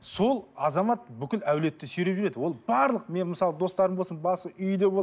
сол азамат бүкіл әулиетті сүйреп жүреді ол барлық мен мысалы достарым болсын басы үйде